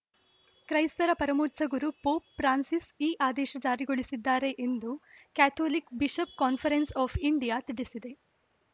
ಕ್ರೈಸ್ತರ ಪರಮೋಚ್ಛ ಗುರು ಪೋಪ್‌ ಫ್ರಾನ್ಸಿಸ್‌ ಈ ಆದೇಶ ಜಾರಿಗೊಳಿಸಿದ್ದಾರೆ ಎಂದು Catholic bishop conference of India ತಿಳಿಸಿದೆ